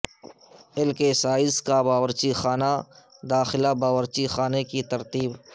L size سائز کا باورچی خانہ داخلہ باورچی خانے کی ترتیب